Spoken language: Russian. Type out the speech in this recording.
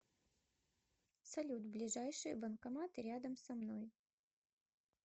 салют ближайшие банкоматы рядом со мной